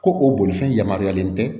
Ko o bolifɛn yamaruyalen tɛ